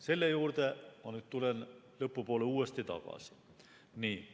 Selle juurde ma tulen lõpu poole uuesti tagasi.